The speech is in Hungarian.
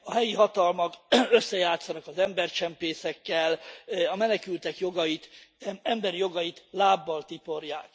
A helyi hatalmak összejátszanak az embercsempészekkel, a menekültek jogait, emberi jogait lábbal tiporják.